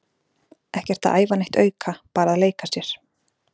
Ekkert að æfa neitt auka, bara að leika sér.